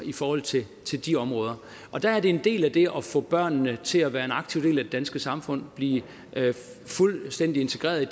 i forhold til til de områder og der er det en del af det at få børnene til at være en aktiv del af det danske samfund og blive fuldstændig integreret i det